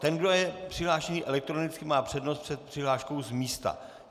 Ten, kdo je přihlášený elektronicky, má přednost před přihláškou z místa.